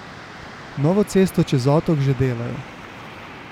Novo cesto čez otok že delajo.